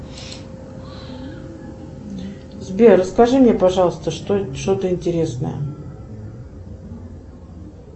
сбер расскажи мне пожалуйста что то интересное